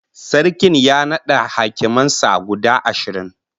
Sarkin ya nada hakiman sa guda ashirin